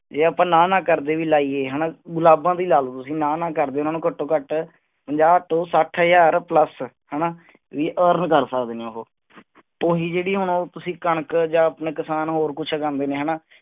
ਜੇ ਆਪਾਂ ਨਾ ਨਾ ਕਰਦੇ ਵੀ ਲਾਈਏ ਹਣਾ ਗੁਲਾਬਾਂ ਦੀ ਲਾ ਲੋ ਤੁਸੀ ਨਾ ਨਾ ਕਰਦੇ ਉਹਨਾਂ ਨੂੰ ਘਟ ਤੋਂ ਘਟ ਪੰਜਾਹ ਤੋਂ ਸੱਠ ਹਜ਼ਾਰ ਪਲੱਸ ਹਣਾ ਵੀ earn ਕਰ ਸਕਦੇ ਨੇ ਉਹੋ ਓਹੀ ਜੇਹੜੀ ਹੁਣ ਉਹ ਤੁਸੀਂ ਕਣਕ ਜਾ ਆਪਣੇ ਕਿਸਾਨ ਹੋਰ ਕੁਛ ਉਗਾਂਦੇ ਨੇ ਹਣਾ